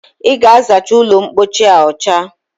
I ga-azacha ụlọmpochi a ọcha